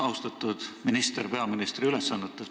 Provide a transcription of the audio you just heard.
Austatud minister peaministri ülesannetes!